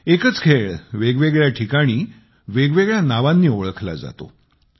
एकच खेळ वेगवेगळ्या ठिकाणी वेगवेगळ्या नावांनी ओळखला जातो